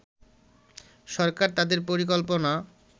সরকার তাদের পরিকল্পনা